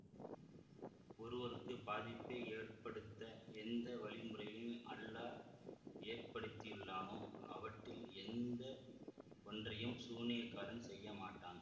ஒருவருக்கு பாதிப்பை ஏற்படுத்த எந்த வழிமுறைகளை அல்லாஹ் ஏற்படுத்தியுள்ளானோ அவற்றில் எந்த ஒன்றையும் சூனியக்காரன் செய்ய மாட்டான்